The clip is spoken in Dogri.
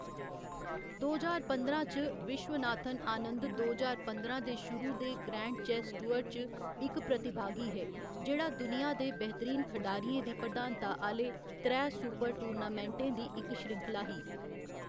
दो ज्हार पंदरां च, विश्वनाथन आनंद दो ज्हार पंदरां दे शुरू दे ग्रैंड चेस टूअर च इक प्रतिभागी हे, जेह्‌‌ड़ा दुनिया दे बेहतरीन खढारियें दी प्रधानता आह्‌‌‌ले त्रै सुपर टूर्नामेंटें दी इक श्रृंखला ही।